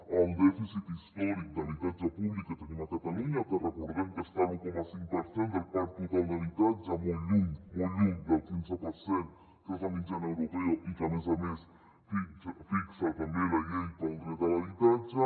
pel dèficit històric d’habitatge públic que tenim a catalunya que recordem que està a l’un coma cinc per cent del parc total d’habitatge molt lluny molt lluny del quinze per cent que és la mitjana europea i que a més a més fixa també la llei pel dret a l’habitatge